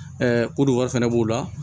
koduwa fɛnɛ b'o la